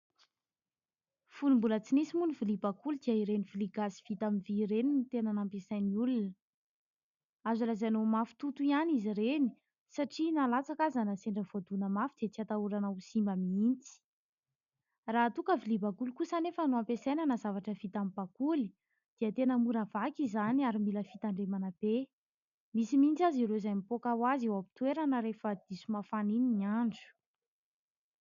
Fony mbola tsy nisy moa ny vilia bakoly dia ireny vilia gasy vita amin'ny vy ireny no tena nampiasain'ny olona. Azo lazaina ho mafy toto ihany izy ireny satria na latsaka aza, na sendra voadona mafy dia tsy atahorana ho simba mihitsy. Raha toa ka vilia bakoly kosa anefa no ampiasaina na zavatra vita amin'ny bakoly dia tena mora vaky izany ary mila fitandremana be. Misy mihitsy aza ireo izay mipoaka ho azy eo am-pitoerana rehefa diso mafana iny ny andro.